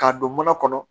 K'a don mana kɔnɔ